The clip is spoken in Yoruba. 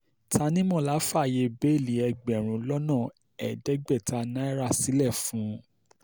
tanimọlá fààyè bẹ́ẹ́lí ẹgbẹ̀rún lọ́nà ẹ̀ẹ́dẹ́gbẹ̀ta náírà sílẹ̀ fún un